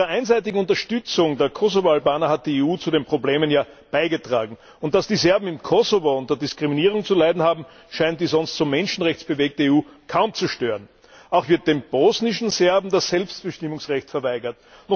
Mit ihrer einseitigen Unterstützung der Kosovo Albaner hat die EU zu den Problemen ja beigetragen. Und dass die Serben im Kosovo unter Diskriminierung zu leiden haben, scheint die sonst so menschenrechtsbewegte EU kaum zu stören. Auch wird den bosnischen Serben das Selbstbestimmungsrecht verweigert.